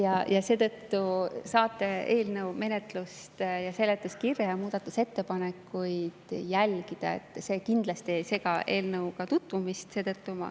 Aga te saate eelnõu menetlust ja seletuskirja ja muudatusettepanekuid ikkagi jälgida, see kindlasti ei sega eelnõuga tutvumist.